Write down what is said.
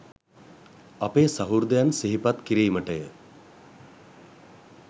අපේ සහෘදයන් සිහිපත් කිරිමටය